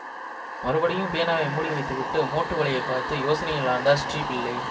மறுபடியும் பேனாவை மூடி வைத்துவிட்டு மோட்டு வளையைப் பார்த்து யோசனையிலாழ்ந்தார் ஸ்ரீ பிள்ளை